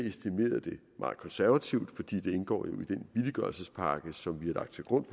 estimeret det meget konservativt fordi det indgår i den billiggørelsespakke som vi har lagt til grund